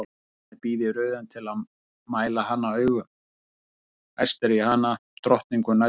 Karlmennirnir bíða í röðum til að mæla hana augum, æstir í hana, drottningu næturinnar!